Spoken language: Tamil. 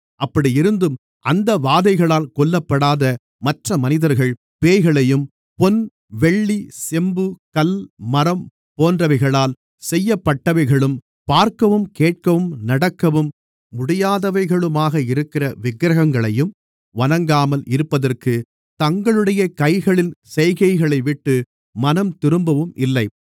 அப்படியிருந்தும் அந்த வாதைகளால் கொல்லப்படாத மற்றமனிதர்கள் பேய்களையும் பொன் வெள்ளி செம்பு கல் மரம் போன்றவைகளால் செய்யப்பட்டவைகளும் பார்க்கவும் கேட்கவும் நடக்கவும் முடியாதவைகளுமாக இருக்கிற விக்கிரகங்களையும் வணங்காமல் இருப்பதற்குத் தங்களுடைய கைகளின் செய்கைகளைவிட்டு மனம்திரும்பவும் இல்லை